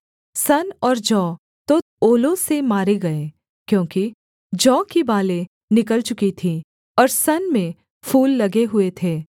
सन और जौ तो ओलों से मारे गए क्योंकि जौ की बालें निकल चुकी थीं और सन में फूल लगे हुए थे